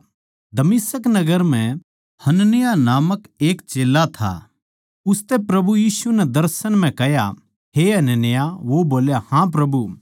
दमिश्क नगर म्ह हनन्याह नामक एक चेल्ला था उसतै प्रभु यीशु नै दर्शन म्ह कह्या हे हनन्याह वो बोल्या हाँ प्रभु